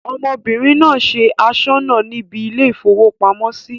ọmọbìnrin náà se asọ́nà níbi ilé-ìfowópamọ́sí